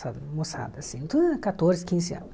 moçada, assim, tudo era quatorze, quinze anos.